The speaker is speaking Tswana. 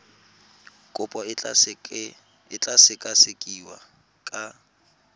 kopo e tla sekasekiwa ka